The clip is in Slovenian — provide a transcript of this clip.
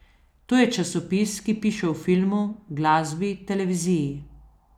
To je časopis, ki piše o filmu, glasbi, televiziji.